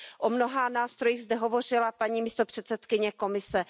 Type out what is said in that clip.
O mnoha nástrojích zde hovořila paní místopředsedkyně Komise.